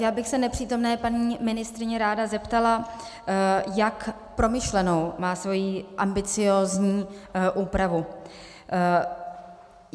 Já bych se nepřítomné paní ministryně ráda zeptala, jak promyšlenou má svoji ambiciózní úpravu.